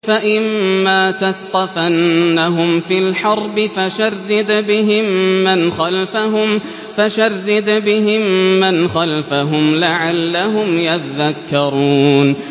فَإِمَّا تَثْقَفَنَّهُمْ فِي الْحَرْبِ فَشَرِّدْ بِهِم مَّنْ خَلْفَهُمْ لَعَلَّهُمْ يَذَّكَّرُونَ